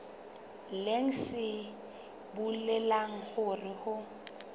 leng se bolelang hore ho